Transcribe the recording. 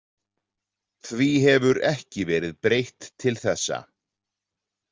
Því hefur ekki verið breytt til þessa.